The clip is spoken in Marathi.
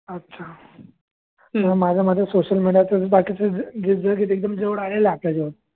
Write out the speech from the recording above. अच्छा हा माझ्या मागे सोशल मिडियाचा बाकीच्या एकदम जवळ आहे लागते